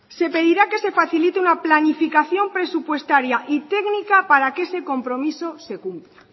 se pedirá que se facilite una planificación presupuestaria y técnica para que ese compromiso se cumpla